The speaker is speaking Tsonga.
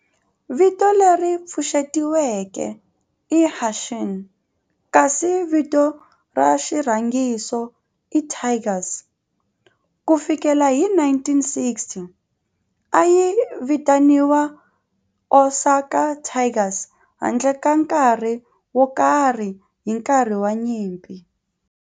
Vito leri pfuxetiweke i"Hanshin" kasi vito ra xirhangiso i"Tigers". Ku fikela hi 1960, a yi vitaniwa Osaka Tigers handle ka nkarhi wo karhi hi nkarhi wa nyimpi.